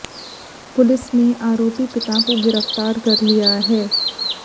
police ने आरोपी पिता को गिरफ्तार कर लिया है